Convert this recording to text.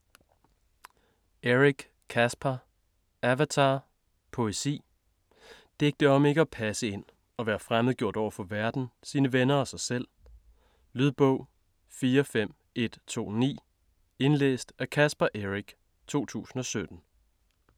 Eric, Caspar: Avatar: poesi Digte om ikke at passe ind; at være fremmedgjort overfor verden, sine venner og sig selv. Lydbog 45129 Indlæst af Caspar Eric, 2017.